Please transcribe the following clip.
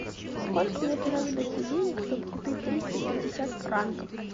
сколько мне понадобится денег чтобы купить триста пятьдесят франков